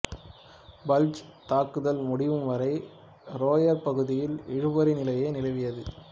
bulge தாக்குதல் முடியும் வரை ரோயர் பகுதியில் இழுபறி நிலையே நிலவியது